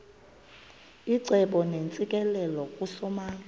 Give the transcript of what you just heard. icebo neentsikelelo kusomandla